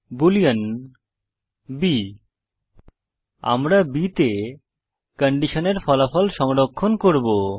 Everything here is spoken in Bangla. বুলিন b আমরা b তে কন্ডিশনের ফলাফল সংরক্ষণ করব